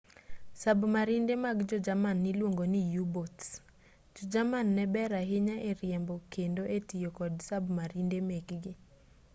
sabmarinde mag jo-jerman niluongo ni u-boats jo-jerman ne ber ahinya e riembo kendo e tiyo kod sabmarinde mekgi